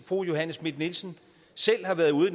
fru johanne schmidt nielsen selv har været ude